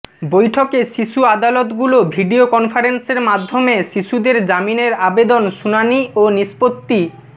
বৈঠকে শিশু আদালতগুলো ভিডিও কনফারেন্সের মাধ্যমে শিশুদের জামিনের আবেদন শুনানি ও নিষ্পত্তি